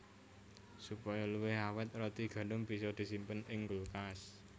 Supaya luwih awèt roti gandum bisa disimpen ing kulkas